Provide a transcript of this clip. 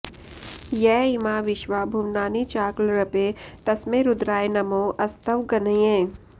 य इमा विश्वा भुवनानि चाक्लृपे तस्मै रुद्राय नमो अस्त्वग्नये